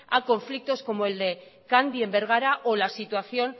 a conflictos como el de candy en bergara o la situación